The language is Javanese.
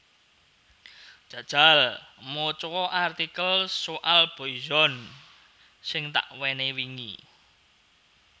Jajal moco o artikel soal Boyzone sing takwenehi wingi